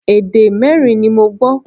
Èdè mẹ́rin ni mo gbọ́